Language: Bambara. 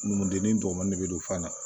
Numudenni dɔgɔmanin bɛ don fan na